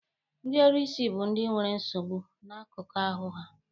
Ndị ọrụsị bụ ndị nwere nsogbu n'akụkụ ahụ ha.